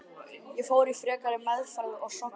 Ég fór í frekari meðferð að Sogni.